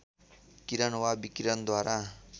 किरण वा विकिरणद्वारा